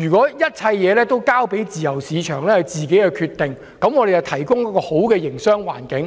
認為，一切事情應交由市場自行決定，政府只負責提供一個良好的營商環境。